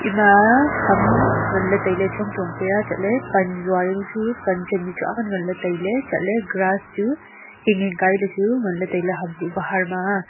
ema ham nganle taile chong chong pea chatle pan jau jaonu chu pan chemle chu aak nganley tailey chatle grass chu hing hing kaile chu nganle taile ham kuh bahar ma a.